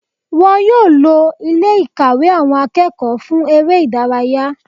Wọn yóò lo Ilé ìkàwé àwọn akẹ́kọ̀ọ́ fún eré ìdárayá